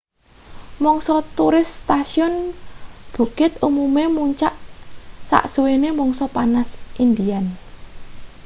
mangsa turis stasiun bukit umume muncak sasuwene mangsa panas indian